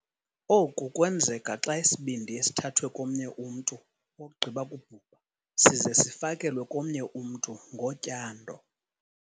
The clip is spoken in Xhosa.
Oku kwenzeka xa isibindi esithathwe komnye umntu ogqiba kubhubha size sifakelwe komnye umntu ngotyando.